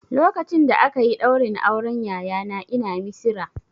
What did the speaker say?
Lokacin da aka yi ɗaurin auren yayana ina Misira